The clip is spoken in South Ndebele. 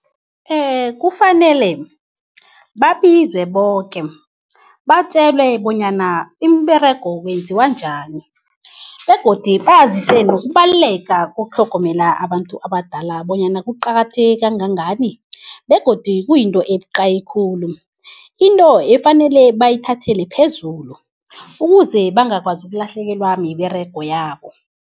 Kufanele babizwe boke, batjelwe bonyana imiberego kwenziwa njani begodu bazise nokubaluleka kokutlhogomela abantu abadala bonyana kuqakatheke kangangani begodi kuyinto ebuqayi khulu, into efanele bayithathele phezulu ukuze bangakwazi ukulahlekelwa miberego yabo.